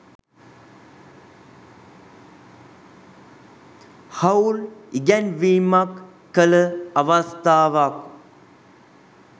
හවුල් ඉගැන්වීමක් කළ අවස්ථාවක්